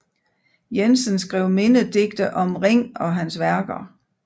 Jensen skrev mindedigte om Ring og hans værker